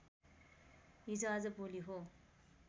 हिजो आज भोलि हो